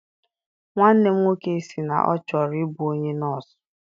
Nwanne m nwoke si na ọ chọrọ I bụ onye nọsụ.